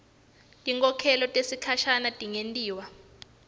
tinkhokhelo tesikhashane tingentiwa